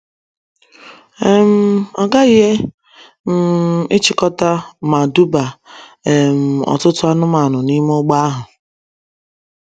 um Ọ ghaghị um ịchịkọta ma duba um ọtụtụ anụmanụ n’ime ụgbọ ahụ.